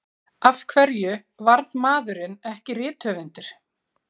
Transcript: Af hverju varð maðurinn ekki rithöfundur?